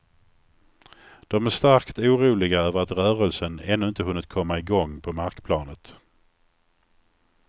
De är starkt oroliga över att rörelsen ännu inte hunnit komma i gång på markplanet.